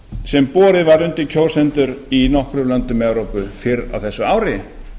sem borið var undir kjósendur í nokkrum löndum evrópu fyrr á þessu ári